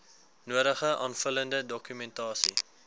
nodige aanvullende dokumentasie